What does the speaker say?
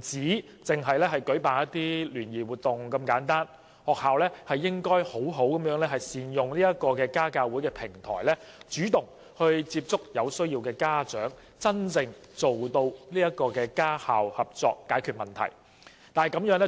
只限於舉辦聯誼活動，學校應該好好利用家教會作為平台，主動接觸有需要的家長，真正達致家校合作，使問題得以解決。